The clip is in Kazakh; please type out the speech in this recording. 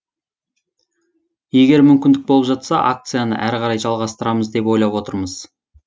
егер мүмкіндік болып жатса акцияны әрі қарай жалғастырамыз деп ойлап отырмыз